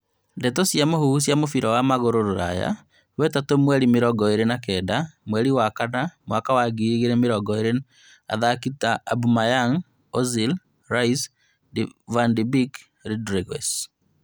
Ndeto cia mũhuhu cia mũbira wa magũrũ Rũraya wetatũ mweri mĩrongo ĩrĩ na Kenda mweri wa kana mwaka wa ngiri igĩrĩ mĩrongo ĩrĩ athaki and Aubameyang, Ozil, Rice, Van de Beek, Rodriguez